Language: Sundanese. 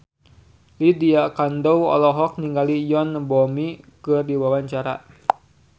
Lydia Kandou olohok ningali Yoon Bomi keur diwawancara